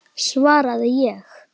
svaraði ég.